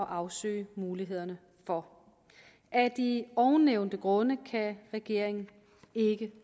afsøge mulighederne for af de ovennævnte grunde kan regeringen ikke